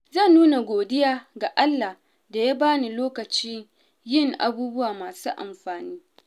Zan nuna godiya ga Allah da ya bani lokacin yin abubuwa masu amfani.